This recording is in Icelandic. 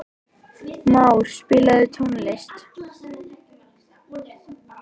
Már, spilaðu tónlist.